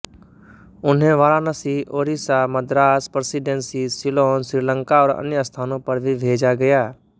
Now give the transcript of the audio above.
उन्हें वाराणसी ओड़ीसा मद्रास प्रेसिडेन्सी सिलोन श्रीलंका और अन्य स्थानों पर भी भेजा गया